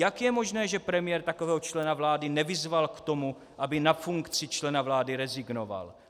Jak je možné, že premiér takového člena vlády nevyzval k tomu, aby na funkci člena vlády rezignoval?